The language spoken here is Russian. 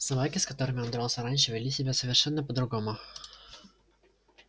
собаки с которыми он дрался раньше вели себя совершенно по другому